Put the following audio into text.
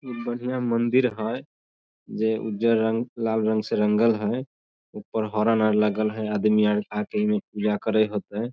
ऊ बढ़िया मंदिर हई जेई उजर रंग लाल रंग से रंगल हई ऊपर हॉर्न आर लगल हई आदमी आर आके इ में पूजा करे होते।